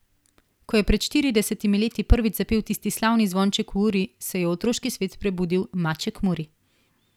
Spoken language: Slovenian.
Ko je pred štiridesetimi leti prvič zapel tisti slavni zvonček v uri, se je v otroški svet prebudil Maček Muri.